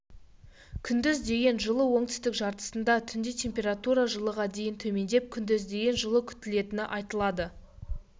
күндіз дейін жылы оңтүстік жартысында түнде температура жылыға дейін төмендеп күндіз дейін жылы күтілетіні айтылады